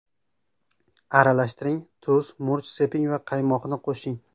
Aralashtiring, tuz, murch seping va qaymoqni qo‘shing.